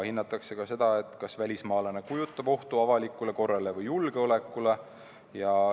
Hinnatakse sedagi, kas välismaalane kujutab ohtu avalikule korrale või julgeolekule.